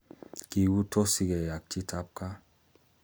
Kigutosike ak chitab gaa